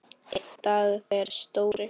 Einn dag þegar Stóri